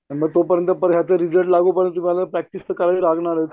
तोपर्यंत याचे रिजल्ट लागूपर्यँत तुम्हाला प्रॅक्टिस तर करावी लागणारच.